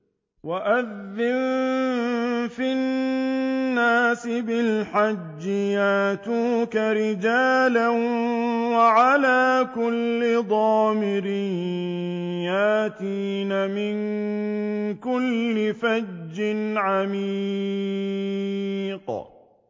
وَأَذِّن فِي النَّاسِ بِالْحَجِّ يَأْتُوكَ رِجَالًا وَعَلَىٰ كُلِّ ضَامِرٍ يَأْتِينَ مِن كُلِّ فَجٍّ عَمِيقٍ